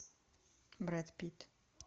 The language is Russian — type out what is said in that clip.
брэд питт